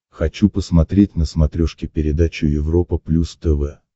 хочу посмотреть на смотрешке передачу европа плюс тв